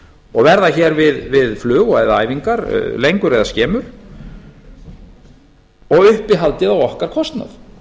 og verða hér við flug eða æfingar lengur eða skemur og uppihaldið á okkar kostnað